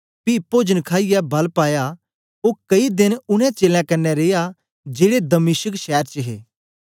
पी पोजन खाईयै बल पाया ओ कई देन उनै चेलें कन्ने रिया जेड़े दमिश्क शैर च हे